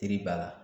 Teri b'a la